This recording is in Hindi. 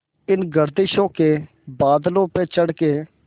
इन गर्दिशों के बादलों पे चढ़ के